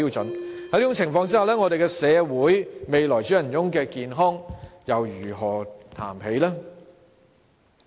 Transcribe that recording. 在這種情況下，我們的社會未來主人翁的健康又如何談起？